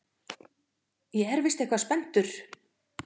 Ég er víst eitthvað spenntur.